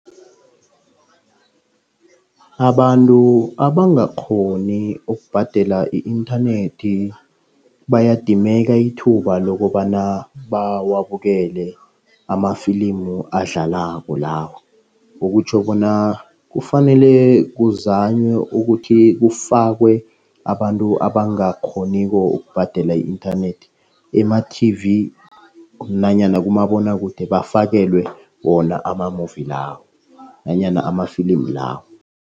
Abantu abangakghoni ukubhadela i-inthanethi bayadimeka ithuba lokobana bawabukele amafilimu adlalako lawa. Okutjho bona kufanele kuzanywe ukuthi kufakwe abantu abangakghoniko ukubhadela i-inthanethi ema-T_V nanyana kumabonwakude. Bafakelele wona ama-movie lawo nanyana amafilimi lawo.